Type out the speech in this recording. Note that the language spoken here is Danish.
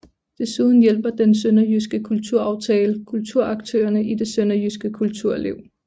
Desuden hjælper Den Sønderjyske Kulturaftale kulturaktørerne i det Sønderjyske kulturliv